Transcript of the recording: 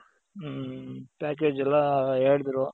ಹ್ಮ್ package ಎಲ್ಲಾ ಹೇಳುದ್ರು.